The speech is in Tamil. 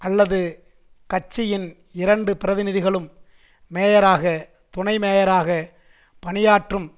அல்லது கட்சியின் இரண்டு பிரதிநிதிகளும் மேயராக துணை மேயராகப் பணியாற்றும்